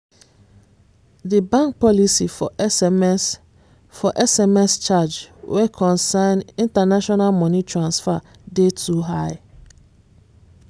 di bank policy for sms for sms charge wen concern international money transfer dey too high